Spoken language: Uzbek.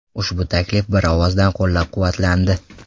Ushbu taklif bir ovozdan qo‘llab-quvvatlandi.